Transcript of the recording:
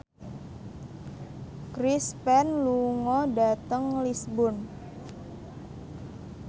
Chris Pane lunga dhateng Lisburn